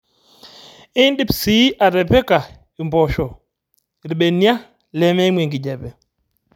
Idip sii atipika imposho irbenia lemeimu enkijape